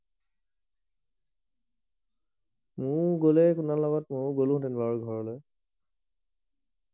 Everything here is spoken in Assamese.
মইও গলে তোমাৰ লগত মইও গলো হেঁতেন বাৰু ঘৰলে